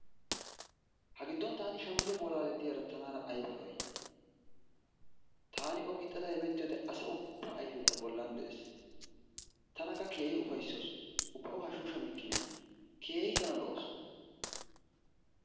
Ha giddon taani shammido bolalle diyaara taana ayibba lo'ay, taani o gixadda hemettiyode asa ubba ayfee ta bollan de'es. Tankka keehi ufayssawusu ubba o hashshu shammikina keehi tana lo'awussu.